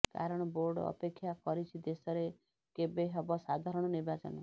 କାରଣ ବୋର୍ଡ଼ ଅପେକ୍ଷା କରିଛି ଦେଶରେ କେବେ ହେବ ସାଧାରଣ ନିର୍ବାଚନ